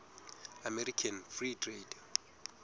american free trade